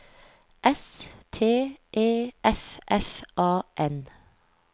S T E F F A N